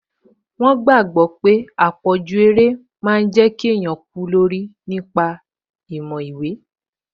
Wọ́n gbàgbọ̀ pé àpọ̀jù eré máa n jẹ́ kí èèyàn gọ̀ nípa ti ìmọ̀ ìwé